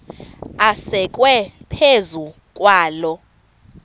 asekwe phezu kwaloo